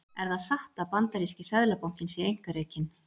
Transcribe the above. Er það satt að bandaríski seðlabankinn sé einkarekinn?